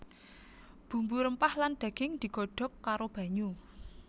Bumbu rempah lan daging digodhog karo banyu